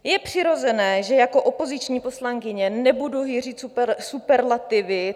Je přirozené, že jako opoziční poslankyně nebudu hýřit superlativy.